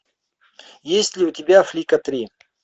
есть ли у тебя флика три